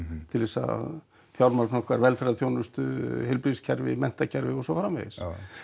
til þess að fjármagna okkar velferðarþjónustu heilbrigðiskerfi menntakerfi og svo framvegis